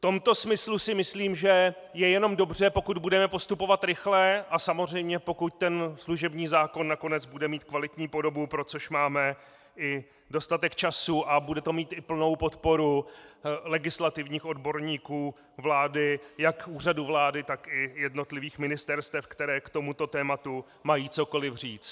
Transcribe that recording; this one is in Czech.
V tomto smyslu si myslím, že je jenom dobře, pokud budeme postupovat rychle a samozřejmě pokud ten služební zákon nakonec bude mít kvalitní podobu, pro což máme i dostatek času, a bude to mít i plnou podporu legislativních odborníků vlády, jak Úřadu vlády, tak i jednotlivých ministerstev, která k tomuto tématu mají cokoli říct.